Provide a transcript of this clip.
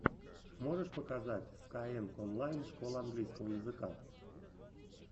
можешь показать скайэнг онлайн школа английского языка